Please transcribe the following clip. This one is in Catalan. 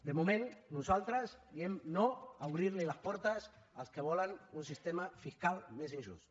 de moment nosaltres diem no a obrir les portes als que volen un sistema fiscal més injust